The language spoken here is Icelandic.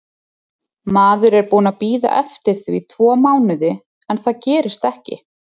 Maður er búinn að bíða eftir því tvo mánuði en það gerist ekki.